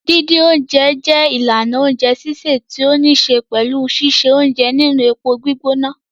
Dídín oúnjẹ jẹ́ ìlànà oúnjẹ sísè tó níṣe pẹ̀lú síse oúnjẹ nínú epo gbígbóná.